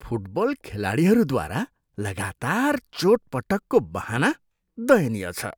Football खेलाडीहरूद्वारा लगातार चोटपटकको बहाना दयनीय छ।